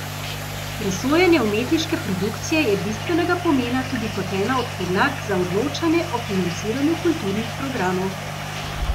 Presojanje umetniške produkcije je bistvenega pomena tudi kot ena od podlag za odločanje o financiranju kulturnih programov.